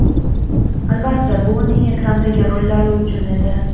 Albatta, bu uning ekrandagi rollari uchun edi.